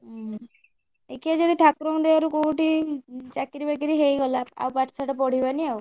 ଉଁ ଦେଖିଆ ଯଦି ଠାକୁରଙ୍କ ଦୟାରୁ କୋଉଠି ଚାକିରି ବାକିରି ହେଇଗଲା ଆଉ ପାଠସାଠ ପଢିବାନି ଆଉ।